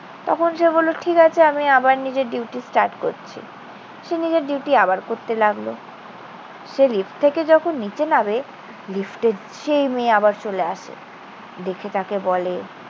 তখন সে বলল, ঠিক আছে। আমি আবার নিজের duty start করছি। সে নিজের duty আবার করতে লাগলো। সে লিফট থেকে যখন নিচে নামে লিফটে সেই মেয়ে আবার চলে আসে। দেখে তাকে বলে,